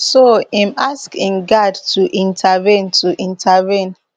so im ask im guard to intervene to intervene